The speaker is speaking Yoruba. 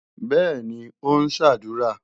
Bẹ́ẹ̀ni, ó ń ṣàdúrà.